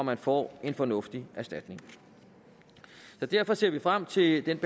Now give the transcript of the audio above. man får en fornuftig erstatning derfor ser vi frem til den